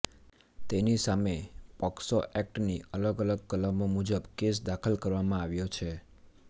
તેની સામે પોક્સો એક્ટની અલગ અલગ કલમો મુજબ કેસ દાખલ કરવામાં આવ્યો છે